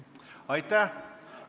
Aitäh!